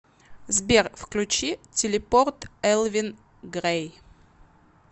сбер включи телепорт элвин грэй